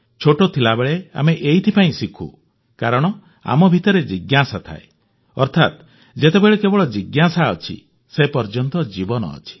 ଛୋଟ ଥିବାବେଳେ ଆମେ ଏଇଥିପାଇଁ ଶିଖୁ କାରଣ ଆମ ଭିତରେ ଜିଜ୍ଞାସା ଥାଏ ଅର୍ଥାତ ଯେତେବେଳ ପର୍ଯ୍ୟନ୍ତ ଜିଜ୍ଞାସା ଅଛି ସେ ପର୍ଯ୍ୟନ୍ତ ଜୀବନ ଅଛି